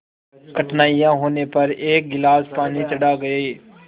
कठिनाई होने पर एक गिलास पानी चढ़ा गए